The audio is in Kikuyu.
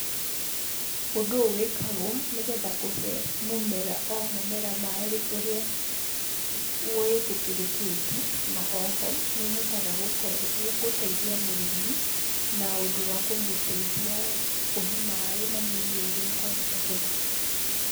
Ũndũ ũyũ wĩkagwo, nĩgetha kũhe mũmera o mũmera maaĩ ũrĩa wĩtĩkĩrĩkĩte, na o ho nĩ ũhotaga gũkorwo, gũteithia mũrĩmi na ũndũ wa kũmũteithia kũhe maaĩ manini o ũrĩa kwahotekeka.